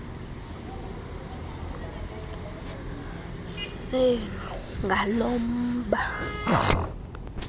senu ngalo mba